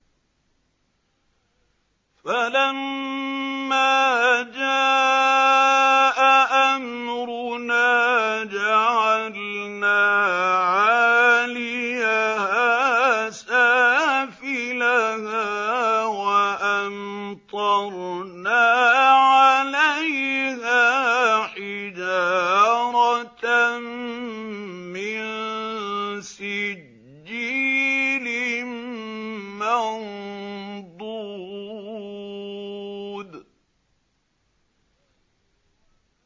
فَلَمَّا جَاءَ أَمْرُنَا جَعَلْنَا عَالِيَهَا سَافِلَهَا وَأَمْطَرْنَا عَلَيْهَا حِجَارَةً مِّن سِجِّيلٍ مَّنضُودٍ